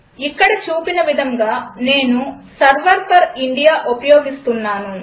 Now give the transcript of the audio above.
ఇక్కడ చూపిన విధంగా నేను సెర్వర్ ఫోర్ ఇండియా ఉపయోగిస్తున్నాను